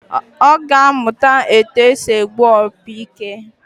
Ọ ga-amụ etu esi egbu opi ike